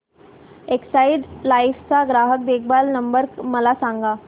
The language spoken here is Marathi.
एक्साइड लाइफ चा ग्राहक देखभाल नंबर मला सांगा